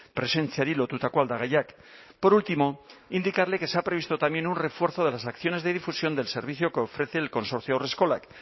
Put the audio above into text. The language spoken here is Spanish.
presentziari lotutako aldagaiak por último indicarle que se ha previsto también un refuerzo de las acciones de difusión del servicio que ofrece el consorcio haurreskolak